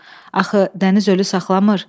Axı dəniz ölü saxlamır.